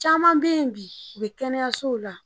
Caman bɛ yen bi u bɛ kɛnɛyasow la